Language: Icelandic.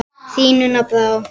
Þín, Una Brá.